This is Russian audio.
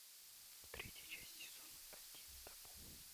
третья часть сезона один табу